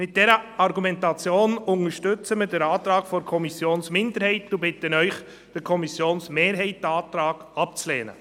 Aufgrund dieser Argumente unterstützen wir den Antrag der Kommissionsminderheit und bitten Sie, den Antrag der Kommissionsmehrheit abzulehnen.